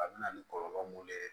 A bɛ na ni kɔlɔlɔ mun ye